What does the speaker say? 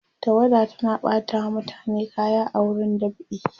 tawada tana ɓata wa mutane kaya a wurin dab'i